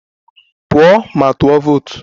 Pụọ ma tụọ vootu!